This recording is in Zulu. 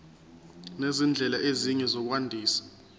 nezindlela ezinye zokwandisa